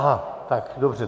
Aha, tak dobře.